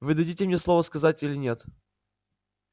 вы дадите мне слово сказать или нет